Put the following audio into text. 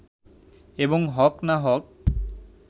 এবং হক না-হক